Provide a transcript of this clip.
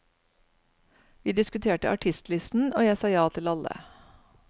Vi diskuterte artistlisten, og jeg sa ja til alle.